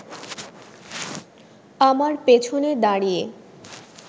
আমার পেছনে দাঁড়িয়ে